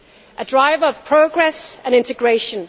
a driver of progress and integration